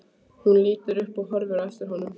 Hún lítur upp og horfir á eftir honum.